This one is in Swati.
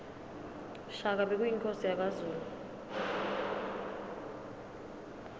shaka bekuyinkhosi yakazulu